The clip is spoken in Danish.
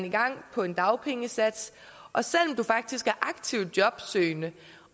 i gang på en dagpengesats og selv om du faktisk er aktivt jobsøgende